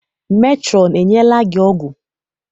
Metrọn enyela gị ọgwụ?